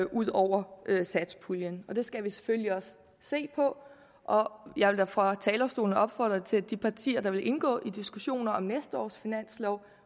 ud over satspuljen det skal vi selvfølgelig også se på og jeg vil da fra talerstolen opfordre til at de partier der vil indgå i diskussioner om næste års finanslov